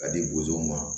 Ka di bozow ma